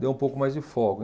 Deu um pouco mais de folga.